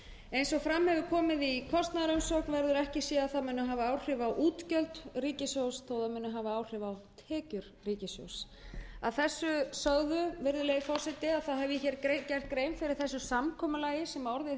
eins og fram hefur komið í kostnaðarumsögn verður ekki séð að það muni hafa áhrif á útgjöld ríkissjóðs þótt það muni hafa áhrif á tekjur ríkissjóðs ég hef nú gert grein fyrir því samkomulagi sem orðið hefur á